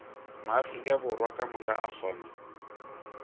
maafrika borwa kamoka a kgona